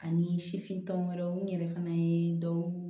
Ani sifin tɔn wɛrɛw n yɛrɛ fana ye dɔw